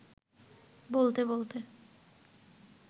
বলতে-বলতে